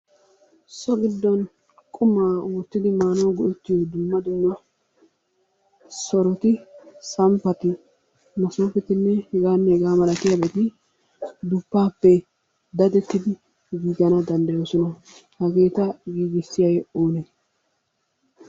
So giddon qumaa oottidi maanawu go'ettiyo dumma dumma soroti, samppati, masoofetinne hegaanne hegaa malatiyabati duppaapppe dadettidi giigana danddayoosona. Hageeta giigissiyagee oonee?